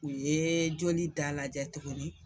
U yee joli da lajɛ tuguni